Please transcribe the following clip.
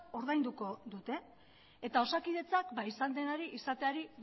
ordainduko dute eta osakidetzak izan denari izateari